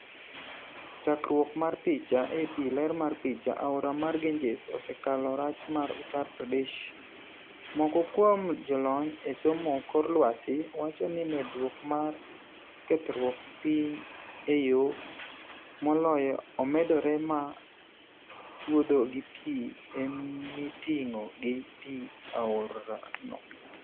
Chakruok mar picha, AP. ler mar picha, Aora mar Ganges osekalo rach mar Uttar Pradesh. Moko kuom jolony e somo kor lwasi wacho ni medruok marmar kethruok piny e yoo Himalaya omedore ma chuodho gi pii emiting'o gi pii aora no.